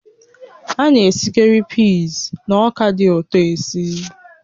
A na-esikarị peas na ọka dị ụtọ esi